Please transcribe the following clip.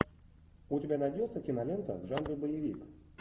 у тебя найдется кинолента в жанре боевик